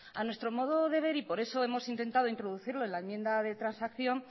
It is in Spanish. a nuestro modo de ver y por eso hemos intenta introducirlo en la enmienda de transacción